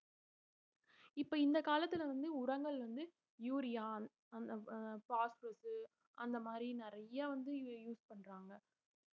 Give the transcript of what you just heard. இப்ப இந்த காலத்துல வந்து உரங்கள் வந்து urine phosphate அந்த மாதிரி நிறைய வந்து use பண்றாங்க